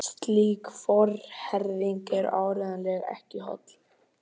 Slík forherðing er áreiðanlega ekki holl.